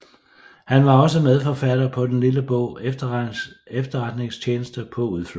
Han var også medforfatter på den lille bog Efterretningstjeneste på udflugt